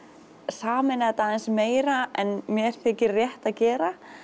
sameina þetta aðeins meira en mér þykir rétt að gera